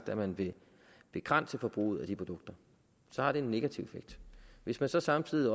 at man vil begrænse forbruget af de produkter så har det en negativ effekt hvis man så samtidig